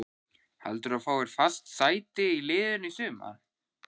Heldurðu að þú fáir fast sæti í liðinu í sumar?